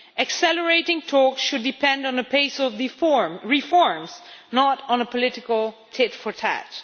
Accelerating talks should depend on the pace of the reforms, not on a political tit for tat.